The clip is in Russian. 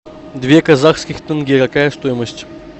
две казахских тенге какая стоимость